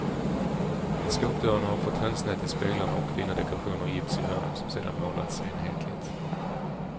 Skåpdörrarna har fått hönsnät i speglarna och fina dekorationer i gips i hörnen som sedan målats enhetligt.